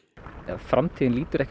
framtíðin lítur ekkert